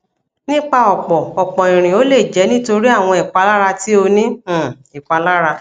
nipa ọpọ ọpọ irin o le jẹ nitori awọn ipalara ti o ni um ipalara